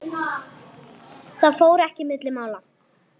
Það fór ekki milli mála.